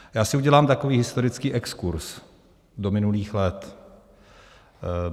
Já si udělám takový historický exkurz do minulých let.